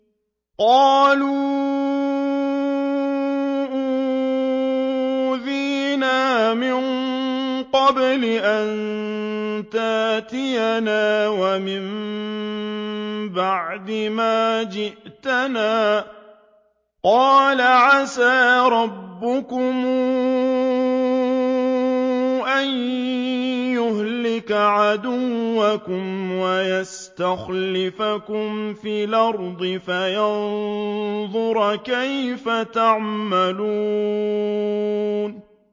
قَالُوا أُوذِينَا مِن قَبْلِ أَن تَأْتِيَنَا وَمِن بَعْدِ مَا جِئْتَنَا ۚ قَالَ عَسَىٰ رَبُّكُمْ أَن يُهْلِكَ عَدُوَّكُمْ وَيَسْتَخْلِفَكُمْ فِي الْأَرْضِ فَيَنظُرَ كَيْفَ تَعْمَلُونَ